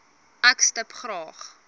ek stip graag